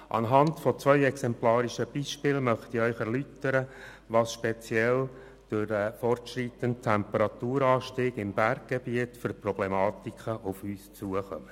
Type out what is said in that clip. An zwei exemplarischen Beispielen möchte ich Ihnen erläutern, was speziell durch den fortschreitenden Temperaturanstieg im Berggebiet für Problematiken auf uns zukommen.